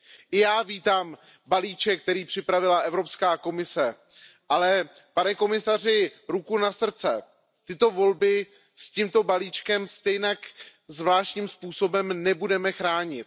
I já vítám balíček, který připravila Evropská komise, ale pane komisaři, ruku na srdce, tyto volby s tímto balíčkem stejně zvláštním způsobem nebudeme chránit.